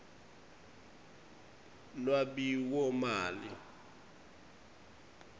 lwabiwomali